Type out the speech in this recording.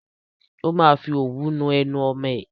Ó máa fi òwú nu ẹnu ọmọ ẹ.